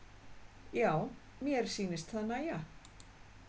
Já, mér sýnist það nægja!